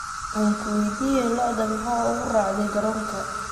Ankuweydiyex, lo'odha maxa uuku racdey karonka.